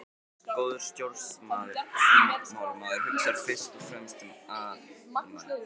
Góður stjórnmálamaður hugsar fyrst og fremst um almannaheill.